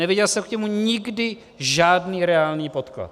Neviděl jsem k němu nikdy žádný reálný podklad.